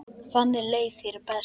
Þannig leið þér best.